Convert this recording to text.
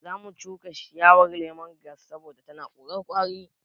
Zamu shuka ciyawar lemon giras saboda tana korar ƙwari